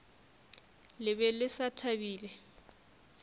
le be le sa thabile